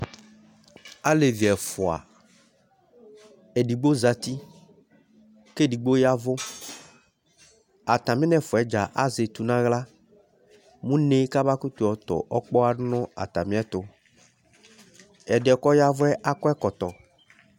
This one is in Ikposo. Alevi ɛfua, edigbo zati k'edigbo yavù atami n'ɛfua dza azɛ etú n'aɣla n'uneé k'aba kutu yɔtõ ɔkpoha du n'atami ɛtu, ɛdiɛ k'ɔyavùɛ akɔ ɛkɔtɔ̃